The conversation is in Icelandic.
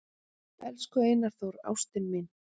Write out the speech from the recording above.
"""Elsku Einar Þór, ástin mín,"""